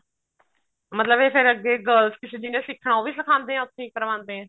ਮਤਲਬ ਇਹ ਫੇਰ ਅੱਗੇ girls ਜਿਹਨੇ ਸਿੱਖਣਾ ਉਹ ਵੀ ਸਿਖਾਉਂਦੇ ਐ ਉੱਥੇ ਹੀ ਉਹ ਵੀ ਕਰਵਾਉਂਦੇ ਆ